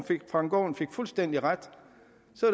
frank aaen fik fuldstændig ret